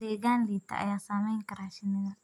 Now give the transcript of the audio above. Deegaan liita ayaa saameyn kara shinnida.